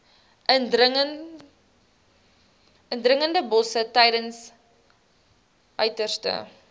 indringerbosse tydens uiterste